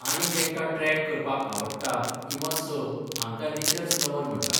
आनी जेंकां ट्रॅक करपाक आवडटा किंवा स हांकां नेचर्स लव्हर म्हणटा.